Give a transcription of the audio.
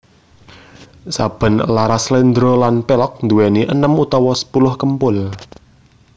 Saben laras sléndro lan pelog nduwéni enem utawa sepuluh kempul